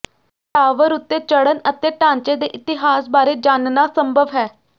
tower ਉੱਤੇ ਚੜ੍ਹਨ ਅਤੇ ਢਾਂਚੇ ਦੇ ਇਤਿਹਾਸ ਬਾਰੇ ਜਾਣਨਾ ਸੰਭਵ ਹੈ